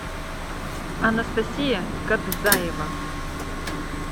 анастасия кадзаева